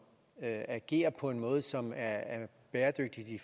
agerer på en måde som er bæredygtigt i